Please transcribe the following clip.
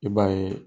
I b'a ye